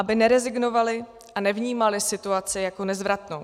Aby nerezignovali a nevnímali situaci jako nezvratnou.